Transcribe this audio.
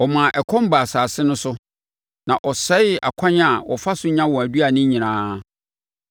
Ɔmaa ɛkɔm baa asase no so na ɔsɛee akwan a wɔfa so nya wɔn aduane nyinaa;